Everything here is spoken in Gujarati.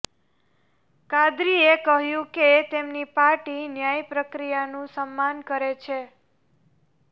કાદરીએ કહ્યું કે તેમની પાર્ટી ન્યાય પ્રક્રિયાનું સમ્માન કરે છે